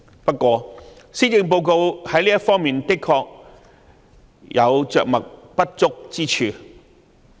不過，施政報告在這方面確實有着墨不足之處。